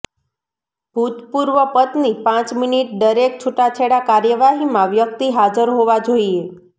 ભૂતપૂર્વ પત્ની પાંચ મિનિટ દરેક છૂટાછેડા કાર્યવાહીમાં વ્યક્તિ હાજર હોવા જોઈએ